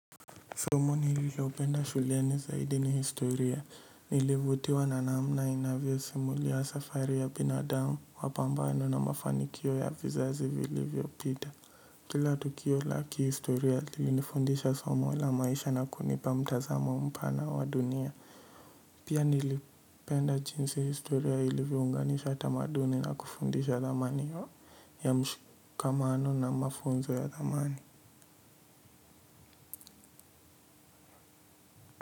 Somo nililopenda shuleni zaidi ni historia. Nilivutiwa na namna inavyosimulia safari ya binadamu wa pambano na mafanikio ya vizazi vilivyopita kila tukio la kihistoria lilinifundisha somo la maisha na kunipa mtazamo mpana wa dunia. Pia nilipenda jinsi historia ilivyounganisha tamaduni na kufundisha zamani ya mshikamano na mafunzo ya zamani.